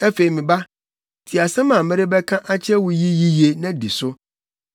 Afei, me ba, tie asɛm a merebɛka akyerɛ wo yi yiye, na di so.